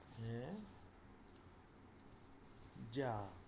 হ্যাঁ, যা